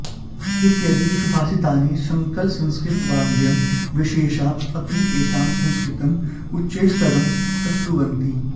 इत्यदि सुभाषितानि सकलसंस्कृतवाङ्मयविशेषाः अपि एतां संस्कृतिम् उच्चैस्तरं प्रस्तुवन्ति